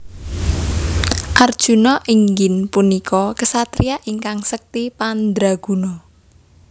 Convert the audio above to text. Arjuna inggin punika ksatria ingkang sekti mandraguna